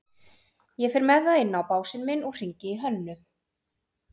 Ég fer með það inn á básinn minn og hringi í Hönnu.